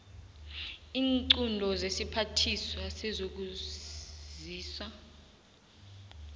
iinqunto zesiphathiswa sezokwazisa